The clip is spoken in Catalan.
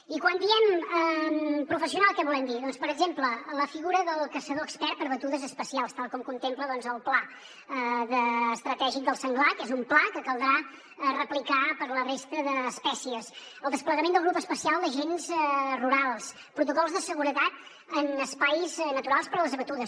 i quan diem pro·fessional què volem dir doncs per exemple la figura del caçador expert per a batudes especials tal com contempla el pla estratègic del senglar que és un pla que caldrà replicar per a la resta d’espècies el desplegament del grup especial d’agents rurals protocols de seguretat en espais naturals per a les batudes